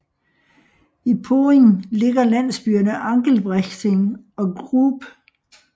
I Poing ligger landsbyerne Angelbrechting og Grub